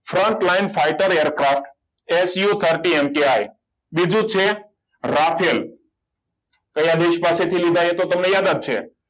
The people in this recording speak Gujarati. frontline fighter aircraftSU thirty MTI બીજું છે રાખેલ કયા દેશ પાસેથી લીધા એ તો તમને યાદ જ છે